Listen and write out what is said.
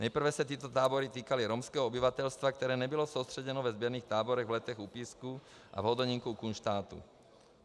Nejprve se tyto tábory týkaly romského obyvatelstva, které nebylo soustředěno ve sběrných táborech v Letech u Písku a v Hodonínku u Kunštátu.